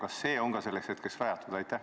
Kas see on selleks ajaks rajatud?